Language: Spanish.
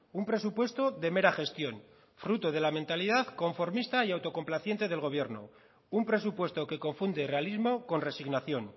un presupuesto de mera gestión fruto de la mentalidad conformista y autocomplaciente del gobierno un presupuesto que confunde realismo con resignación